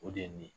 O de ye nin ye